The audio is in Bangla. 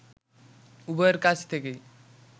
উভয়ের কাছ থেকেই